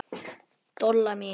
Dolla mín.